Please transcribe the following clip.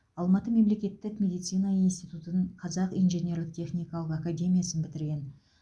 алматы мемлекеттік медицина институтын қазақ инженерлік техникалық академиясын бітірген